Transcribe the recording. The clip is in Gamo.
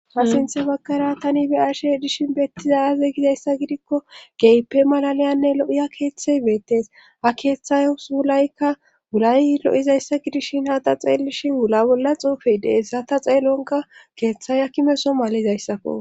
ha sinthe bagkara tani be ashe dishin bettizayaze gizayssa gidikko geype malaliyanne lo7iya keeththey beettes a keeththays wulaykka wulay lo7izayssa gidishin hada xeelishin wula bolla xuufi deessata xeelonka keeththay a kimeso malizayssakko